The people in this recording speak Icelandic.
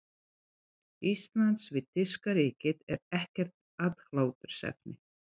Íslands við þýska ríkið, er ekkert aðhlátursefni.